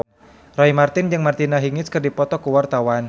Roy Marten jeung Martina Hingis keur dipoto ku wartawan